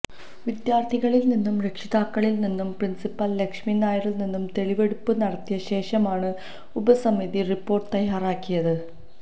വിദ്യാര്ഥികളില് നിന്നും രക്ഷിതാക്കളില് നിന്നും പ്രിന്സിപ്പല് ലക്ഷ്മി നായരില് നിന്നും തെളിവെടുപ്പ് നടത്തിയ ശേഷമാണ് ഉപസമിതി റിപ്പോര്ട്ട് തയാറാക്കിയത്